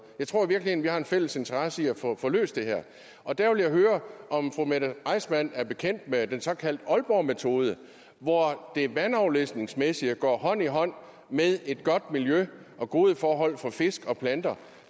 jeg tror i virkeligheden at vi har en fælles interesse i at få få løst det her og der vil jeg høre om fru mette reissmann er bekendt med den såkaldte aalborgmetode hvor det vandafledningsmæssige går hånd i hånd med et godt miljø og gode forhold for fisk og planter